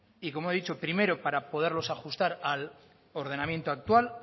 y como he dicho primero para poderlos ajustar al ordenamiento actual